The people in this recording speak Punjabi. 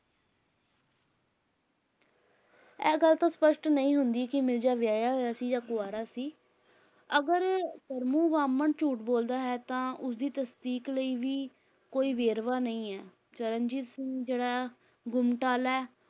ਇਹ ਗੱਲ ਤਾਂ ਸਪਸ਼ਟ ਨਹੀਂ ਹੁੰਦੀ ਕਿ ਮਿਰਜ਼ਾ ਵਿਆਹਿਆ ਹੋਇਆ ਸੀ ਜਾਂ ਕੁਆਰਾ ਸੀ, ਅਗਰ ਕਰਮੂ ਬਾਹਮਣ ਝੂਠ ਬੋਲਦਾ ਹੈ ਤਾਂ ਉਸਦੀ ਤਸਦੀਕ ਲਈ ਵੀ ਕੋਈ ਵੇਰਵਾ ਨਹੀਂ ਹੈ, ਚਰਨਜੀਤ ਸਿੰਘ ਜਿਹੜਾ ਗੁਮਟਾਲਾ ਹੈ